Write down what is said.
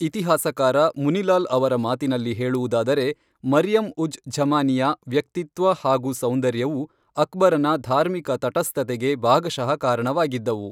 ಇತಿಹಾಸಕಾರ ಮುನಿಲಾಲ್ ಅವರ ಮಾತಿನಲ್ಲಿ ಹೇಳುವುದಾದರೆ, ಮರಿಯಮ್ ಉಜ್ ಝಮಾನಿಯ, ವ್ಯಕ್ತಿತ್ವ ಹಾಗು ಸೌಂದರ್ಯವು ಅಕ್ಬರನ ಧಾರ್ಮಿಕ ತಟಸ್ಥತೆಗೆ ಭಾಗಶಃ ಕಾರಣವಾಗಿದ್ದವು.